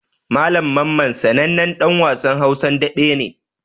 Malam Mamman sanannen ɗan wasan Hausan daɓe ne.